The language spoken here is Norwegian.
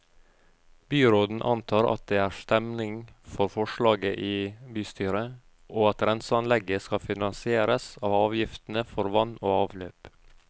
Byråden antar at det er stemning for forslaget i bystyret, og at renseanlegget skal finansieres av avgiftene for vann og avløp.